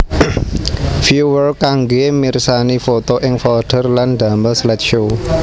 Viewer kanggé mirsani foto ing folder lan damel slideshow